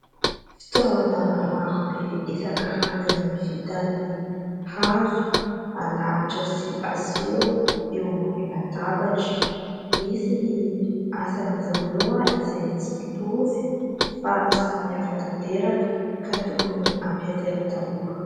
Fitaovana maro be isankarazany vita amin'ny hazo alahatra sy aseho eo ambony latabatra. Misy ny asan'izy ireo izay tsy mitovy fa samihafa tanteraka ka tokony ampiasaina daholo.